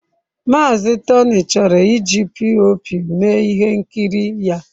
Mazị Tony chọrọ iji POP mee ihe nkiri ya.